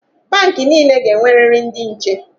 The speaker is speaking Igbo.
Bank niile ga-enweriri ndị nche.